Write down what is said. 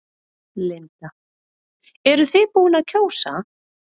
Linda: Eruð þið búin að kjósa?